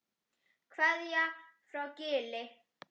Kveðja frá Gili.